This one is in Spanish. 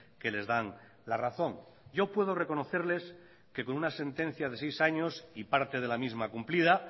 que les dan la razón yo puedo reconocerles que con una sentencia de seis años y parte de la misma cumplida